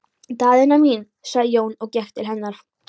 Daðína mín, sagði Jón og gekk til hennar.